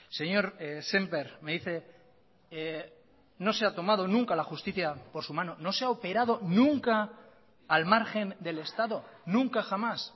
señor sémper me dice no se ha tomado nunca la justicia por su mano no se ha operado nunca al margen del estado nunca jamás